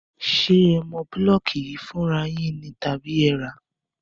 Ṣé ẹ mọ búlọ́ọ̀kù yìí fúnra yín ni tàbí ẹ rá á?